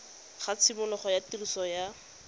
ga tshimologo ya tiriso ya